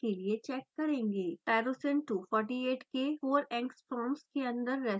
tyrosine 248 के 4 angstroms के अन्दर रेसीड्यूज़ दिखाएँ